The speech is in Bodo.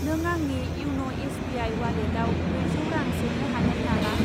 नों आंनि इयन' एस बि आइ उवालेटाव ब्रैजौ रां सोनो हागोन नामा?